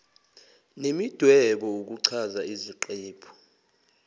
nemidwebo ukuchaza isiqephu